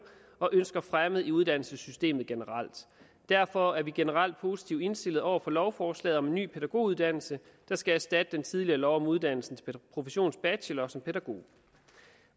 og ønsker fremmet i uddannelsessystemet generelt derfor er vi generelt positivt indstillet over for lovforslaget om en ny pædagoguddannelse der skal erstatte den tidligere lov om uddannelse til professionsbachelor som pædagog